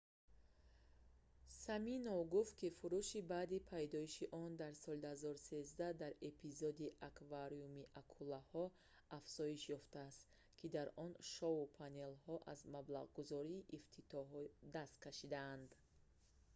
симинов гуфт ки фурӯш баъди пайдоиши он дар соли 2013 дар эпизоди аквариуми акулаҳо афзоиш ёфтааст ки дар он шоу-панелҳо аз маблағгузории ифтитиҳоӣ даст кашиданд